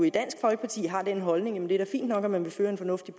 i dansk folkeparti har jo den holdning at det er fint nok at man vil føre en fornuftig